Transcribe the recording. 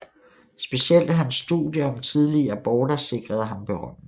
Specielt hans studier om tidlige aborter sikrede ham berømmelse